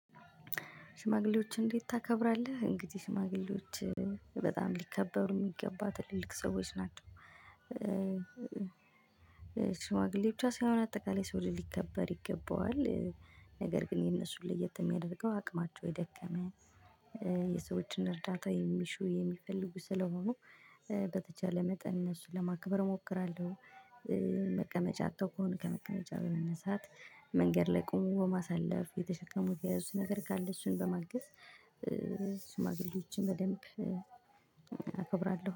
ሽማግሌዎች እንዴት ታከብራለህ? እንግዲህ ሽማግሌዎች በጣም ሊከበሩ የሚገባ ትልልቅ ሰዎች ናቸው። ሽዋግሌዎች ብቻ ሳይሆን አጠቃላይ የሰው ልጅ ሊከበር ይገባዋል። ነገር ግን የነሱን ለየት የሚያደርገው አቅማቸው የደከመ የሰዎችን እርዳታ የሚሹ የሚፈልጉ ስለሆኑ በተቻለ መጠን እነሱን ለማክበር እሞክራለሁኝ። መቀመጫ አጥተው ከሆነ ከመቀመጫ በመነሳት መንገድ ላይ ቆምቶበ ማሳለፍ የተሸከሙት የያዙት ነገር ካለ እሱን በማገዝ ሽማግሌዎችን በደንብ አከብራለሁ